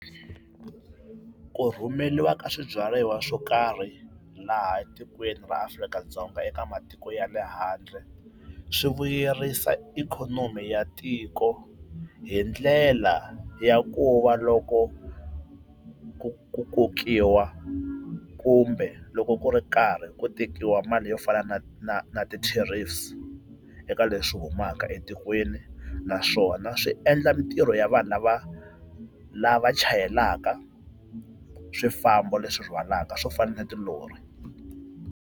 Ku rhumeriwa ka swibyariwa swo karhi laha tikweni ra Afrika-Dzonga eka matiko ya le handle, swi vuyerisa ikhonomi ya tiko hi ndlela ya ku va loko ku ku kokiwa kumbe loko ku ri karhi ku tekiwa mali yo fana na na na ti-tariffs eka leswi humaka etikweni. Naswona swi endla mitirho ya vanhu lava lava chayelaka swifambo leswi rhwalaka swo fana na tilori.